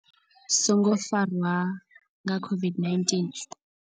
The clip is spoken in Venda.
Songo farwa nga COVID-19.